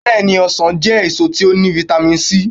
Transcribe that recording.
Beeni, osan je eso ti o ni vitami sii